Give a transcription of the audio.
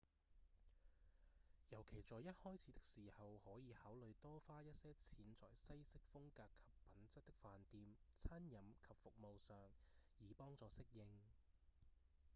尤其在一開始的時候可以考慮多花一些錢在西式風格及品質的飯店、餐飲及服務上以幫助適應